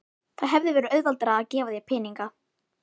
Það hefði verið auðveldara að gefa þér peninga.